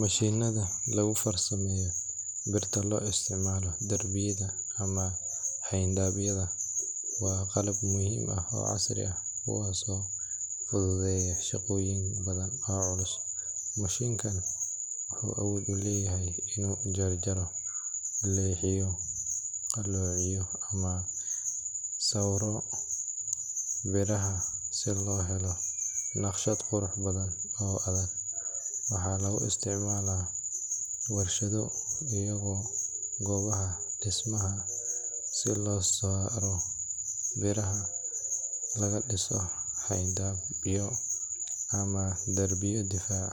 Mashiinnada lagu farsameeyo birta loo isticmaalo darbiyada ama xayndaabyada waa qalab muhiim ah oo casri ah, kuwaasoo fududeeya shaqooyin badan oo culus. Mashiinkan wuxuu awood u leeyahay inuu jarjaro, leexiyo, qalloociyo ama sawro biraha si loo helo naqshad qurux badan oo adag. Waxaa lagu isticmaalaa warshado iyo goobaha dhismaha si loo soo saaro biraha laga dhiso xayndaabyo ama darbiyo difaac